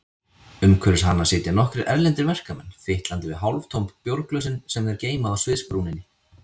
Umhverfis hana sitja nokkrir erlendir verkamenn, fitlandi við hálftóm bjórglösin sem þeir geyma á sviðsbrúninni.